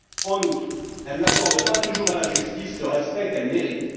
En outre, elle n'accorde pas toujours à la justice le respect qu'elle mérite.